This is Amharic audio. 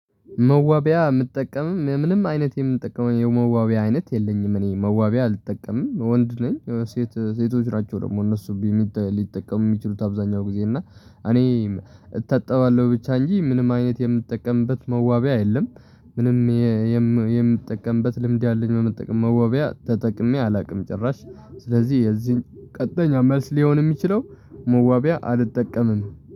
መዋቢያ የምጠቀምም ምንም አይነት የምጠቀመው የመዋቢያ አይነት የለኝም። እኔ መዋቢያ አልጠቀምም ወንድ ነኝ። ሴት ሴቶች ናቸው ደግሞ እነሱ ሊጠቀሙ የሚችሉት አብዛኛው ጊዜ እና እኔ እታጠባለሁ ብቻ እንጂ ምንም አይነት የምጠቀምበት መዋቢያ የለም። ምንም የምጠቀምበት ልምድ ያለኝ መጠቀም መዋቢያ ተጠቅሜ አላውቅም ጭራሽ። ስለዚህ የዚህን ቀጥተኛ መልስ ሊሆን የሚችለው መዋቢያ አልጠቀምም